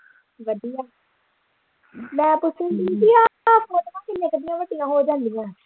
ਵਧੀਆ ਵਾਪਸੀ ਦੀਦੀ ਆਹ ਹੋ ਜਾਂਦੀਆਂ।